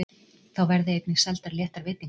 Þá verði einnig seldar léttar veitingar